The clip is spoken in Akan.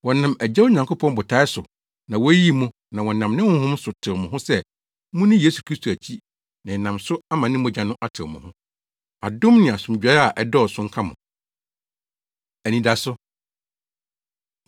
Wɔnam Agya Onyankopɔn botae so na woyii mo na wɔnam ne Honhom so tew mo ho sɛ munni Yesu Kristo akyi na ɛnam so ama ne mogya no atew mo ho: Adom ne asomdwoe a ɛdɔɔso nka mo. Anidaso